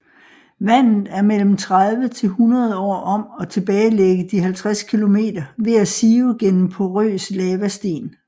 Vandet er mellem 30 til 100 år om at tilbagelægge de 50 kilometer ved at sive gennem porøs lavasten